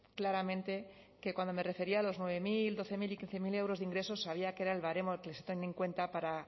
claramente que cuando me refería a los nueve mil doce mil y quince mil euros de ingresos sabía que era el baremo que se tiene en cuenta para